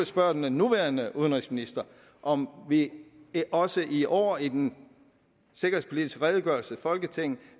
spørge den nuværende udenrigsminister om vi også i år i den sikkerhedspolitiske redegørelse til folketinget